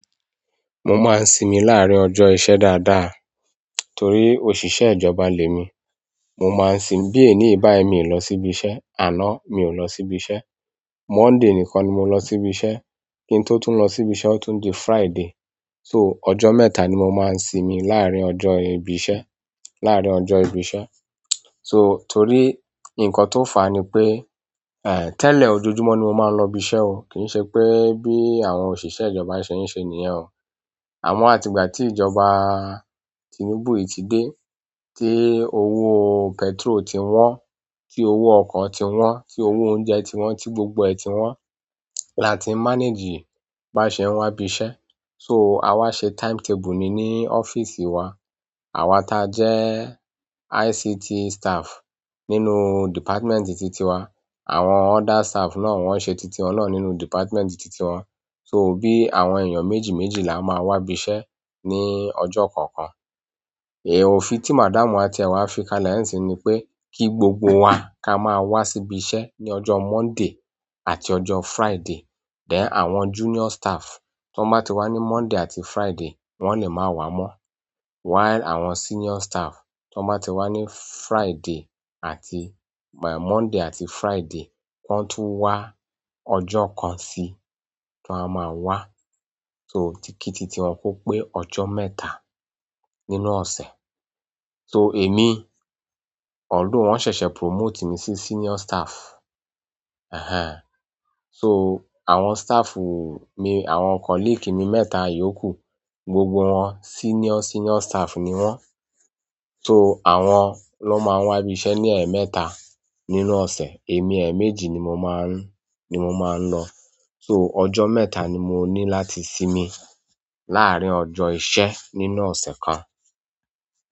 Mo máa ń sinmi láàárín ọjọ́ iṣẹ́ dáadáa torí òṣìṣẹ́ ìjọba lè mi. Mo máa ń sin bí èní báyìí mi lọ sí ibi iṣẹ́. Àná mi ò lọ sí ibi iṣẹ́. Monday nìkan ni mo lọ sí ibi iṣẹ́. Kí n tó tún lọ sí ibi iṣẹ́, ó tún di Friday. So ọjọ́ mẹ́ta ni mo máa ń sinmi láàárín ọjọ́ ibi iṣẹ́, láàárín ọjọ́ ibi iṣẹ́. So torí nǹkan tó fà á ni pé, eh, tẹ́lẹ̀ ojoojúmọ́ ni mo máa ń lọ ibi iṣẹ́ o. Kì í ṣe pé bí àwọn òṣìṣẹ́ ìjọba ṣe ń ṣe nìyẹn o. Àmọ́ ìgbà tí ìjọba Tinubu yìí ti dẹ̀, tí owó petrol ti wọn, tí owó ọkọ̀ ti wọ́n, tí owó oúnjẹ ti wọn, tí gbogbo ti wọn, ni a tí manage bí a sé wá ibi iṣẹ́. So àwa ṣe timetable ni ní ọ́fíìsì wa. Àwa ta jẹ́ ICT staff nínú department ti tiwa. Àwọn other staff náà wọ́n ṣe títí wọn náà nínú department tití wọn. So bí àwọn èèyàn méjì méjì la máa wá ibi iṣẹ́ ní ọjọ́ kọ̀ọ̀kan. Èè o fi tí madam wa tìẹ wá fi ka nísìí pé kí gbogbo wa ká máa wá sí ibi iṣẹ́ ní ọjọ́ Monday àti ọjọ́ Friday. Dẹ̀ àwọn junior staff tó bá ti wá ní Monday àti Friday wọn lè máa wá mọ́. While àwọn senior staff tó bá ti wá ní Friday àti-- Monday àti Friday, wọ́n tún wá ọjọ́ kan sí tí wọ́n a máa wá. So títí ti wọn kó pé ọjọ́ mẹ́ta nínú ọ̀sẹ̀. So èmi, although wọ́n ṣẹ̀ṣẹ̀ promote mi sí senior staff. Ehen. So àwọn staff mi, àwọn colleague mi mẹ́ta yòókù gbogbo wọn senior, senior staff ni wọ́n. So àwọn ló máa wá ibi iṣẹ́ ní ẹ̀ẹ̀mẹ́ta nínú ọ̀sẹ̀. Èmi ẹ̀ẹ̀méjì ni mo máa ń, ni mo máa ń lọ. So ọjọ́ mẹ́ta ni mo ní láti sinmi láàárín ọjọ́ iṣẹ́ nínú ọ̀sẹ̀ kan.